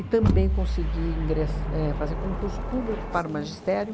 E também consegui ingress éh fazer concurso público para o magistério.